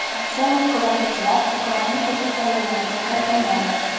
Rossiyalik kuzatuvchilar Ukrainadagi saylovlarga kiritilmaydi.